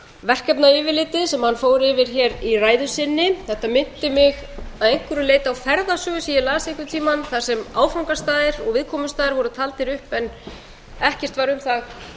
verkefna yfirlitið sem hann fór yfir hér í ræðu sinni þetta minnti mig að einhverju leyti á ferðasögu sem ég las einhvern tímann þar sem áfangastaðir og viðkomustaðir voru taldir upp en ekkert var um það